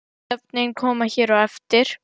Nöfnin koma hér á eftir.